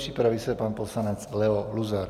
Připraví se pan poslanec Leo Luzar.